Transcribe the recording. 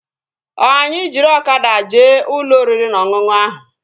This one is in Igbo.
Ọ anyị jiri ọkada jee ụlọ oriri na ọṅụṅụ ahụ?